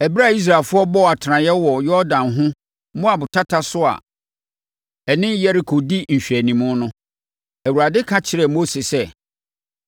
Ɛberɛ a Israelfoɔ bɔɔ atenaseɛ wɔ Yordan ho, Moab tata so a ɛne Yeriko di nhwɛanimu no, Awurade ka kyerɛɛ Mose sɛ,